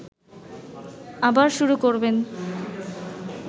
আবার শুরু করবেন